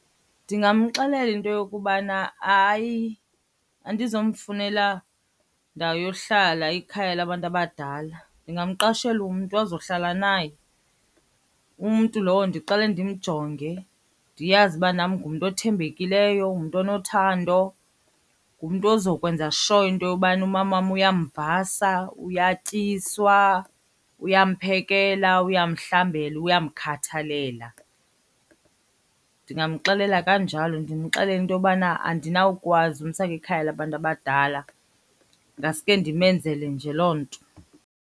Ndingamxelela into yokubana, hayi, andizomfunela ndawo yohlala ikhaya labantu abadala. Ndingamqeshela umntu azohlala naye, umntu lowo ndiqale ndimjonge ndiyazi uba nam ngumntu othembekileyo, ngumntu onothando. Ngumntu ozokwenza sure into yobana umamam uyamvasa, uyatyiswa, uyamphekela, uyamhlambela, uyamkhathalela. Ndingamxelela kanjalo ndimxelele into yobana andinawukwazi umsa kwikhaya labantu abadala, ngaske ndimenzele nje loo nto.